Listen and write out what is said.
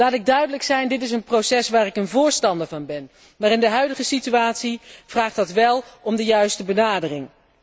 Laat ik duidelijk zijn dit is een proces waarvan ik een voorstander ben, maar in de huidige situatie vraagt dat wel om de juiste benadering.